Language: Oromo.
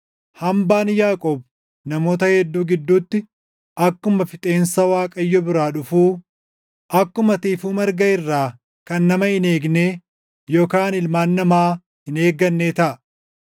Hambaan Yaaqoob namoota hedduu gidduutti akkuma fixeensa Waaqayyo biraa dhufuu, akkuma tiifuu marga irraa kan nama hin eegnee yookaan ilmaan namaa hin eeggannee taʼa.